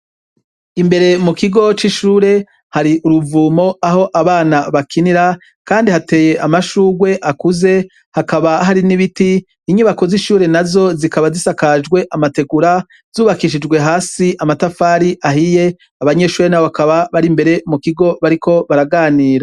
Imbere mu kigo c'ishuri, hari uruvumo, aho abana bakinira, kandi hateye amashurwe akuze. Hakaba hari n'ibiti . Inyubako n'azo zikaba zisakajwe amategura, zubakishijwe hasi amatafari ahiye. Abanyeshure n'abo bakaba bari imbere mu kigo bariko baraganira.